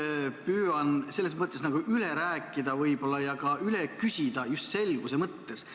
Ma püüan nüüd üle rääkida võib-olla ja ka üle küsida just selguse mõttes.